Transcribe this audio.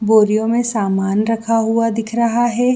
बोरिओ में रखा सामान रखा हुआ दिख रहा हैं।